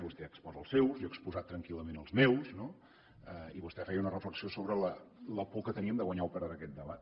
vostè exposa els seus jo he exposat tranquil·lament els meus no i vostè feia una reflexió sobre la por que teníem de guanyar o perdre aquest debat